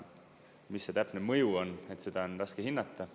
Mis see täpne mõju on, seda on raske hinnata.